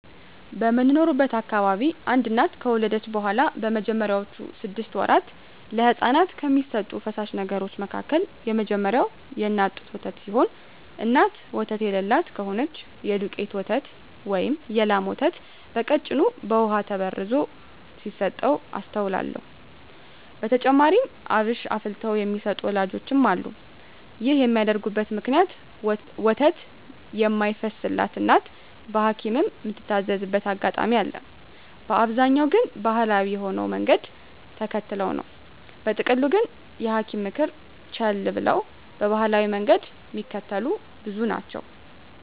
በምኖርበት አካባቢ አንድ እናት ከወለደች በኋላ በመጀመሪያወቹ ስድስት ወራት ለህጻናት ከሚሰጡ ፈሳሽ ነገሮች መካከል የመጀመሪያው የእናት ጡት ወተት ሲሆን እናት ወተት የለላት ከሆነች የዱቄት ወተት ወይም የላም ወተት በቀጭኑ በውሃ ተበርዞ ሲሰጥ አስተውላለው። በተጨማሪም አብሽ አፍልተው የሚሰጡ ወላጆችም አሉ። ይህን የሚያደርጉበት ምክንያት ወተት የማይፈስላት እናት በሀኪምም ምትታዘዝበት አጋጣሚ አለ፤ በአብዛኛው ግን ባሀላዊ የሆነውን መንገድ ተከትለው ነው። በጥቅሉ ግን የሀኪምን ምክር ቸለል ብለው ባሀላዊውን መንገድ ሚከተሉ ብዙ ናቸው።